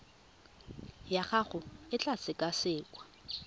ya gago e tla sekasekwa